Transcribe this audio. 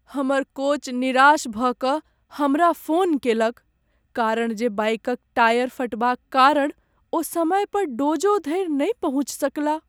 हमर कोच निराश भऽ कऽ हमरा फोन केलक कारण जे बाइकक टायर फटबाक कारण ओ समय पर डोजो धरि नहि पहुँचि सकलाह।